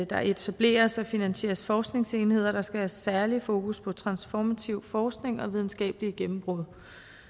der etableres og finansieres forskningsenheder der skal have særlig fokus på transformativ forskning og videnskabelige gennembrud